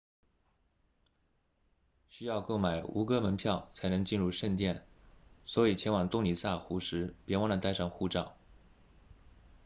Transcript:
需要购买吴哥门票才能进入圣殿所以前往洞里萨湖 tonle sap 时别忘了带上护照